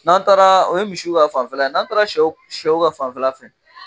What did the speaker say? N'an taara o ye misiw ka fanfɛla ye, n'an taara sɛw ka fanfɛla fɛ